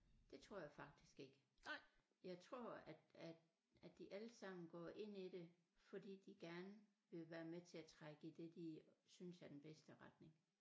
Det tror jeg faktisk ikke jeg tror at at at de alle sammen går ind i det fordi de gerne vil være med til at trække i det de synes er den bedste retning